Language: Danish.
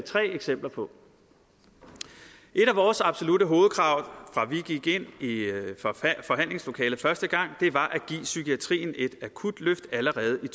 tre eksempler på et af vores absolutte hovedkrav fra vi gik ind i forhandlingslokalet første gang var at give psykiatrien et akut løft allerede i